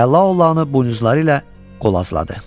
Və Laolanı buynuzları ilə qovazladı.